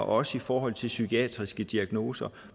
også i forhold til psykiatriske diagnoser